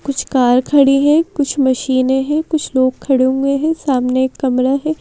कुछ कार खड़ी हैं कुछ मशीनें हैं कुछ लोग खड़े हुए हैं सामने एक कमरा है।